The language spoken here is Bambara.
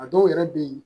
A dɔw yɛrɛ bɛ yen